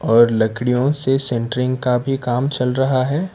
और लकड़ियों से सेंटरिंग का भी काम चल रहा है।